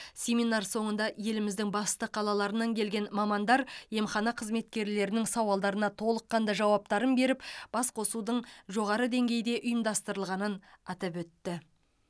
семинар соңында еліміздің басты қалаларынан келген мамандар емхана қызметкерлерінің сауалдарына толыққанды жауаптарын беріп басқосудың жоғары деңгейде ұйымдастырылғанын атап өтті